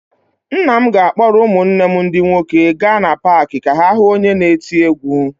Nna m ga-akpọrọ ụmụnne m ndị nwoke gaa na paakị ka ha hụ onye na-eti egwú.